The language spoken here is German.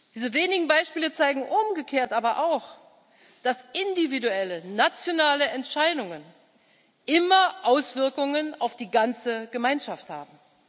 Diese wenigen Beispiele zeigen umgekehrt aber auch, dass individuelle nationale Entscheidungen immer Auswirkungen auf die ganze Gemeinschaft haben.